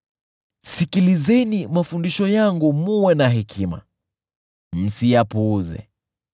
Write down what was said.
Sikilizeni mafundisho yangu mwe na hekima; msiyapuuze.